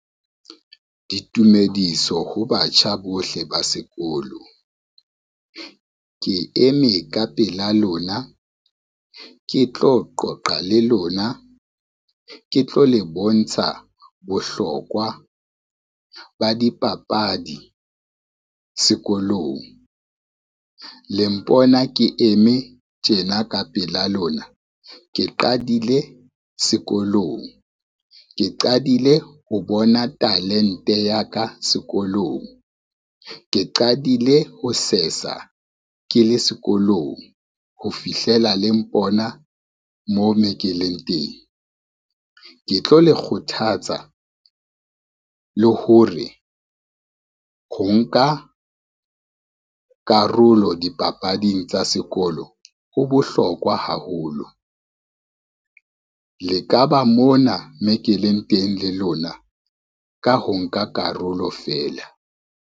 Ditumediso ho batjha bohle ba sekolo. Ke eme ka pela lona, ke tlo qoqa le lona, ke tlo le bontsha bohlokwa ba dipapadi sekolong. Le mpona ke eme tjena ka pela lona, ke qadile sekolong, ke qadile ho bona talente ya ka sekolong, ke qadile ho sesa ke le sekolong ho fihlela le mpona mo me ke leng teng. Ke tlo le kgothatsa le hore, ho nka karolo dipapading tsa sekolo ho bohlokwa haholo le ka ba mona mo ke leng teng le lona ka ho nka karolo fela.